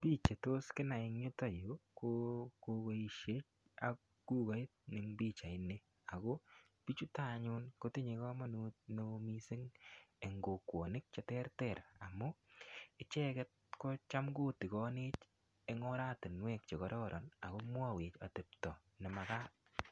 Biich chetos kinai eng yuto yu ko kogoisiek ak kugait eng pichaini ago biichuto anyun kotinye kamanut neo mising eng kokwonik cheterter amu, icheget ko cham kotigonech eng oratinwek che kororon ago mwawech atepto ne magat